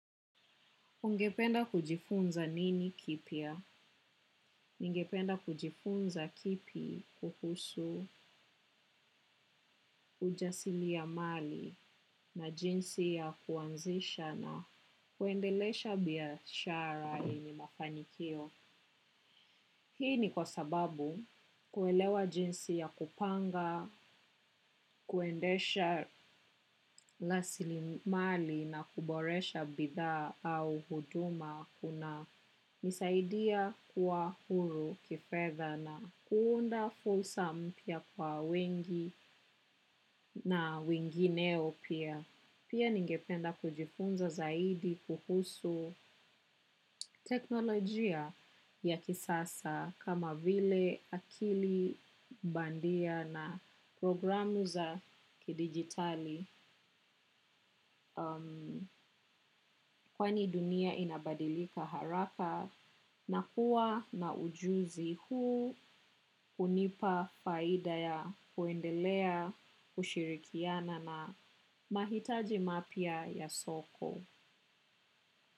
Ungependa kujifunza nini kipya? Ningependa kujifunza kipi kuhusu ujasiriamali na jinsi ya kuanzisha na kuendelesha biashara yenye mafanikio. Hii ni kwa sababu kuelewa jinsi ya kupanga, kuendesha rasilimali na kuboresha bidhaa au huduma kuna. Nisaidia kuwa huru kifedha na kuunda fursa mpya kwa wengi na wengineo pia. Pia ningependa kujifunza zaidi kuhusu teknolojia ya kisasa kama vile akili bandia na programu za kidigitali. Kwani dunia inabadilika haraka na kuwa na ujuzi huu hunipa faida ya kuendelea kushirikiana na mahitaji mapya ya soko.